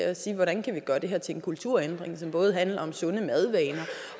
at sige hvordan kan vi gøre det her til en kulturændring som både handler om sunde madvaner